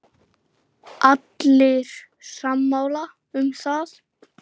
Allir sammála um það.